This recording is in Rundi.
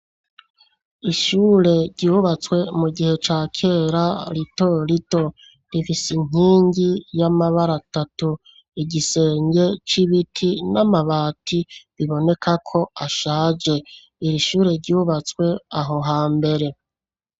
Ishure, ryubatswe mu gihe ca kera, rito rito; rifise inkingi, y'amabara atatu; igisenge c'ibiti, n'amabati, biboneka ko ashaje; iri shure, ryubatswe aho hambere.